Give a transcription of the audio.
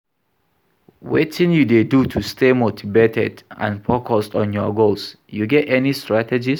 Wetin you dey do to stay motivated and focuesd on your goals, you get any strategies?